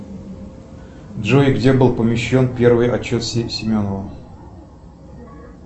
джой где был помещен первый отчет семенова